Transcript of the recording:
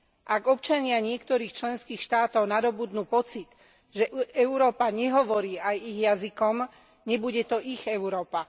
Ak občania niektorých členských štátov nadobudnú pocit, že Európa nehovorí aj ich jazykom, nebude to ich Európa.